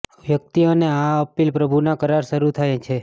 વ્યક્તિ અને આ અપીલ પ્રભુના કરાર શરૂ થાય છે